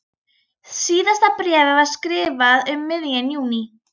Síðasta bréfið var skrifað um miðjan júní.